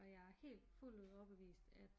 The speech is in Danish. Og jeg er helt fuldt ud overbevist at